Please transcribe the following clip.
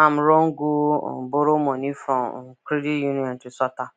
am run go um borrow money from um credit union to sort am